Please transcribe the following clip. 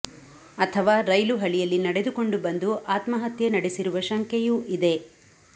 ಅಥವಾ ರೈಲು ಹಳಿಯಲ್ಲಿ ನಡೆದುಕೊಂಡು ಬಂದು ಆತ್ಮಹತ್ಯೆ ನಡೆಸಿರುವ ಶಂಕೆಯೂ ಇದೆ